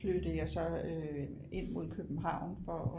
Flyttede jeg så ind mod København for at